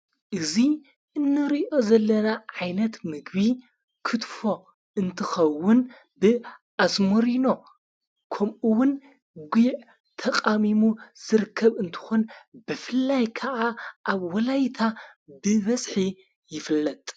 እዙይ እነርዮ ዘለና ዓይነት ምግቢ ክትፎ እንትኸውን ብ ኣስሞሪኖ ከምኡውን ጕዕ ተቓሚሙ ስርከብ እንተኾን በፍላይ ከዓ ኣብ ወላይታ ብበዝሒ ይፍለጥ::